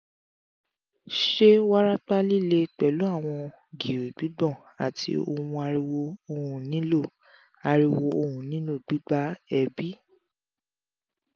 ṣe warapa lile pẹlu awọn giri gbigbon ati awọn ariwo ohun nilo ariwo ohun nilo gbigba er bi?